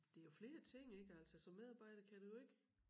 Det jo flere ting ik altså som medarbejder kan du jo ikke